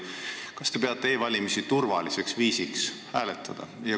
Kas te peate e-valimist turvaliseks viisiks hääletada?